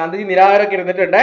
ഗാന്ധിജി നിരാഹാരം ഒക്കെ ഇരുന്നിട്ടുണ്ട്